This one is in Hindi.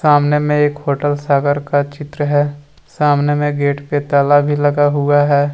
सामने में एक होटल सागर का चित्र है सामने में गेट पे ताला भी लगा हुआ है ।